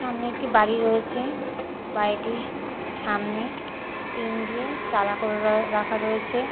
সামনে একটি বাড়ি রয়েছে বাড়িটির সামনে টিন দিয়ে চালা করে রয়ে রাখা রয়েছে।